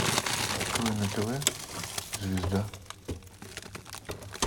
открой на тв звезда